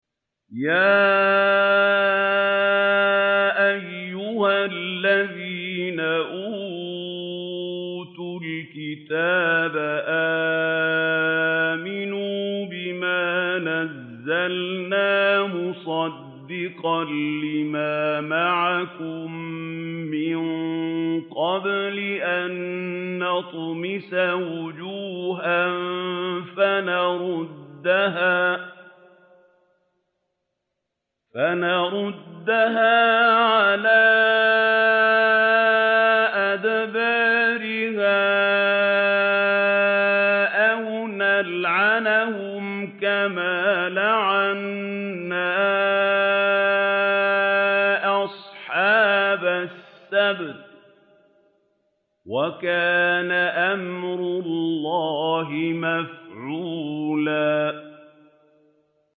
يَا أَيُّهَا الَّذِينَ أُوتُوا الْكِتَابَ آمِنُوا بِمَا نَزَّلْنَا مُصَدِّقًا لِّمَا مَعَكُم مِّن قَبْلِ أَن نَّطْمِسَ وُجُوهًا فَنَرُدَّهَا عَلَىٰ أَدْبَارِهَا أَوْ نَلْعَنَهُمْ كَمَا لَعَنَّا أَصْحَابَ السَّبْتِ ۚ وَكَانَ أَمْرُ اللَّهِ مَفْعُولًا